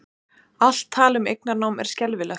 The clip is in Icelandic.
Allt tal um eignarnám er skelfilegt